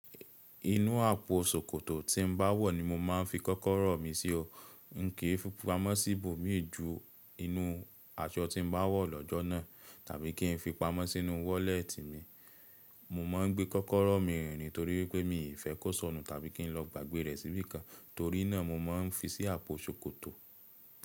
Inú àpò ṣòkòtò tí n bá wọ̀ ni mo máa ń fi kọ́kọ́rọ́ mi sí o. Kìí fi pamọ́ sí ibòmí ju inú aṣọ tí n bá wọ̀ lọ́jọ́ náà tàbí kí n fi pamọ́ sínú wọ́lẹ́tì mi. Mo mọ ń gbé kọ́kọ́rọ́ mi rìn ni torí wipé mi ì fẹ́ kó sọnù tàbí kí n lọ gbàgbé rẹ̀ síbí kan. Torí náà mo mọ ń fi sí àpò ṣòkòtò.